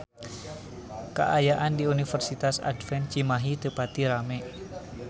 Kaayaan di Universitas Advent Cimahi teu pati rame